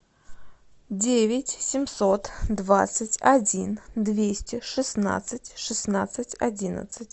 девять семьсот двадцать один двести шестнадцать шестнадцать одиннадцать